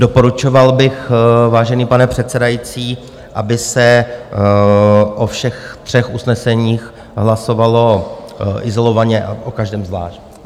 Doporučoval bych, vážený pane předsedající, aby se o všech třech usneseních hlasovalo izolovaně a o každém zvlášť.